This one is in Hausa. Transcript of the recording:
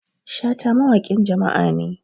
Shata wawaƙin jama'a ne